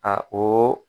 A o